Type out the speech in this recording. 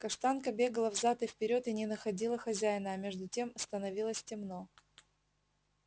каштанка бегала взад и вперёд и не находила хозяина а между тем становилось темно